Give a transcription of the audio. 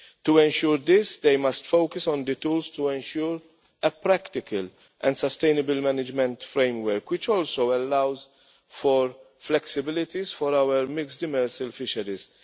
To ensure this, they must focus on the tools to ensure a practical and sustainable management framework which also allows for flexibilities for our mixed demersal fisheries.